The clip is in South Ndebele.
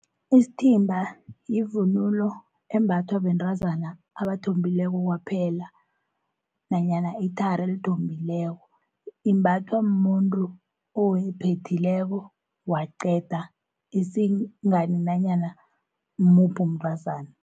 Isithimba yivunulo embathwa bentrazana abathombileko kwaphela, nanyana ithari elithombileko. Imbathwa muntru ophethileko waqeda isingani nanyana ngimuphi umntazana.